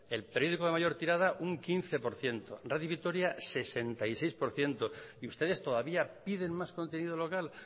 el periódico de mayor tirada un quince por ciento radio vitoria sesenta y seis por ciento y ustedes todavía piden más contenido local